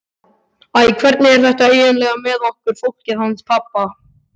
Æ, hvernig er þetta eiginlega með okkur fólkið hans pabba?